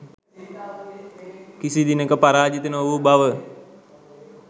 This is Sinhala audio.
කිසිදිනෙක පරාජිත නොවූ බව